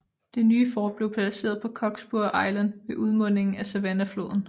Det nye fort blev placeret på Cockspur Island ved udmundingen af Savannahfloden